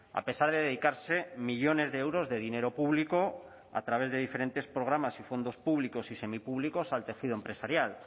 a pesar de dedicarse millónes de euros de dinero público a través de diferentes programas y fondos públicos y semipúblicos al tejido empresarial